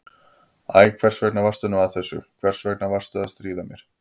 Æ, hvers vegna varstu nú að þessu, hvers vegna varstu að stríða mér?